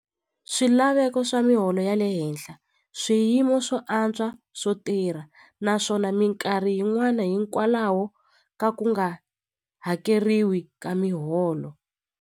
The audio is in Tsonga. Swilaveko swa miholo ya le henhla swiyimo swo antswa swo tirha naswona minkarhi yin'wani hikwalaho ka ku nga hakeriwi ka miholo.